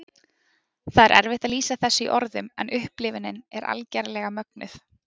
Það er erfitt að lýsa þessu í orðum, en upplifunin er algerlega mögnuð.